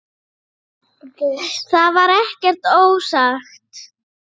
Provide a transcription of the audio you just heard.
Það var ekkert ósagt.